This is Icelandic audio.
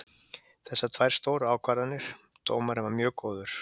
Þessar tvær stóru ákvarðanir, dómarinn var mjög góður.